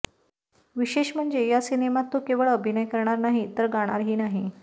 विशेष म्हणजे या सिनेमात तो केवळ अभिनय करणार नाही तर गाणार ही आहे